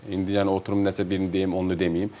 İndi yəni oturum nəsə birini deyim, onu deməyim.